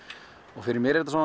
og fyrir mér er þetta